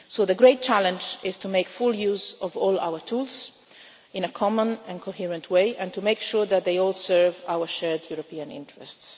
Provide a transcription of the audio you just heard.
So the great challenge is to make full use of all our tools in a common and coherent way and to make sure that they all serve our shared European interests.